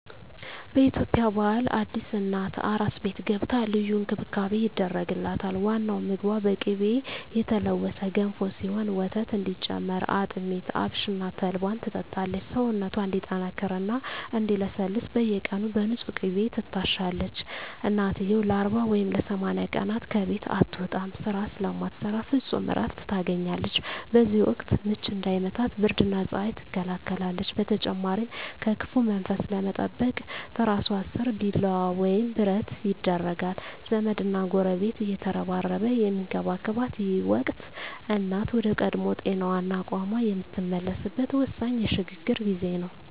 በኢትዮጵያ ባህል አዲስ እናት "አራስ ቤት" ገብታ ልዩ እንክብካቤ ይደረግላታል። ዋናው ምግቧ በቅቤ የተለወሰ ገንፎ ሲሆን፣ ወተት እንዲጨምር አጥሚት፣ አብሽና ተልባን ትጠጣለች። ሰውነቷ እንዲጠነክርና እንዲለሰልስ በየቀኑ በንፁህ ቅቤ ትታሻለች። እናትየው ለ40 ወይም ለ80 ቀናት ከቤት አትወጣም፤ ስራ ስለማትሰራ ፍጹም እረፍት ታገኛለች። በዚህ ወቅት "ምች" እንዳይመታት ብርድና ፀሐይ ትከላከላለች። በተጨማሪም ከክፉ መንፈስ ለመጠበቅ ትራሷ ስር ቢላዋ ወይም ብረት ይደረጋል። ዘመድና ጎረቤት እየተረባረበ የሚንከባከባት ይህ ወቅት፣ እናት ወደ ቀድሞ ጤናዋና አቅሟ የምትመለስበት ወሳኝ የሽግግር ጊዜ ነው።